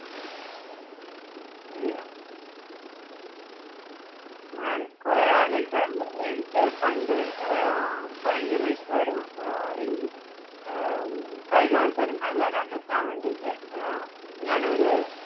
ശരിയാ ഞാൻ കുറെ ആലോചിക്കാറുണ്ട് എനിക്ക് പണ്ട് ആഹ് ഭയങ്കര ഇഷ്ടമായിരുന്നു ആഹ് ഈ ഹും കൈ കാണിച്ചാൽ നിർത്താൻ വേണ്ടിയിട്ട് അഹ് ഞാൻ ഒരു